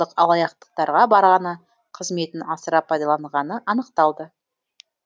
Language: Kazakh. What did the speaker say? алаяқтықтарға барғаны қызметін асыра пайдаланғаны анықталды